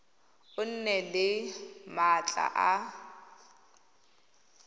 o nne le maatla a